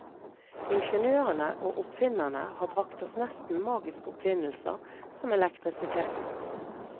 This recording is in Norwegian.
Ingeniørene og oppfinnerne har bragt oss nesten magiske oppfinnelser, som elektrisiteten.